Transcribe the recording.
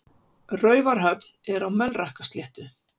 Raufarhöfn er á Melrakkasléttu.